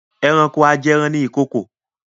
Ẹranko ajẹran ni ìkokò.